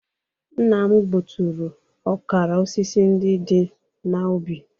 Nna m gbuturu ọkara osisi ndị dị n'ubi